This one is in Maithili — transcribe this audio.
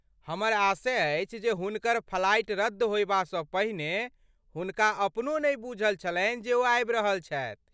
हमर आशय अछि जे हुनकर फ्लाइट रद्द होयबासँ पहिने हुनका अपनो नहि बुझल छलनि जे ओ आबि रहल छथि।